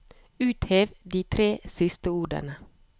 Uthev de tre siste ordene